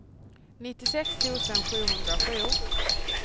nittiosex tusen sjuhundrasju